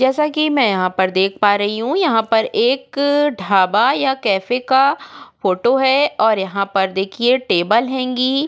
जैसा की मैं यहाँ पर देख पा रही हू यहाँ पर एक ढाबा या कॅफे का फोटो है और यहाँ पर देखिये टेबल हेंगी।